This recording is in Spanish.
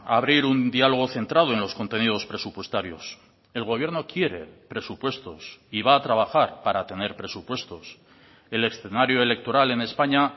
abrir un diálogo centrado en los contenidos presupuestarios el gobierno quiere presupuestos y va a trabajar para tener presupuestos el escenario electoral en españa